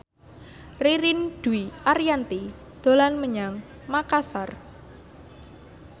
Ririn Dwi Ariyanti dolan menyang Makasar